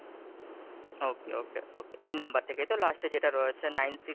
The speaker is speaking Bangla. okay, okay, okay, এই number থেকে তো? last এ যেটা রয়েছে Nine six,